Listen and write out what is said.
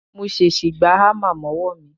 Mo ṣèṣì gbá hámà mọ́wọ́ mi